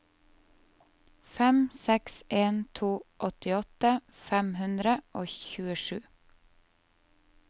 fem seks en to åttiåtte fem hundre og tjuesju